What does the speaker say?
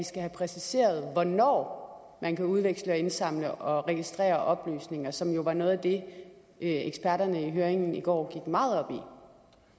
skal have præciseret hvornår man kan udveksle indsamle og registrere oplysninger som jo var noget af det eksperterne i høringen i går gik meget